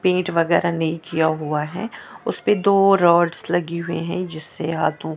Paint वगैरा नहीं किया हुआ है। उस पे दो रोड्स लगी हुई है जिससे हाथों--